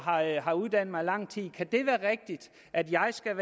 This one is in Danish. har uddannet mig i lang tid kan det være rigtigt at jeg skal